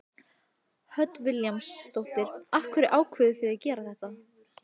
Hödd Vilhjálmsdóttir: Af hverju ákváðuð þið að gera þetta?